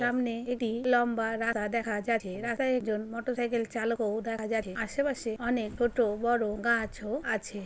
সামনে একটি লম্বা রাস্তা দেখা যাচ্ছে। রাস্তায় একজন মোটরসাইকেল চালকও দেখা যাচ্ছে। আশেপাশে অনেক ছোটো বড়ো গাছ ও আছে।